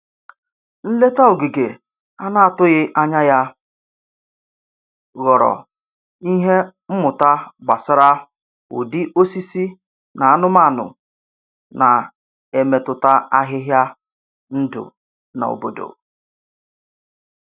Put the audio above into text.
Nleta ogige a na-atụghị anya ya ghọrọ ihe mmụta gbasara ụdị osisi na anumanụ na-emetụta ahịhịa ndụ na obodo.